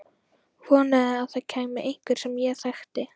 Vonaði að það kæmi einhver sem ég þekkti.